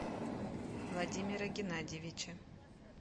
владимира геннадьевича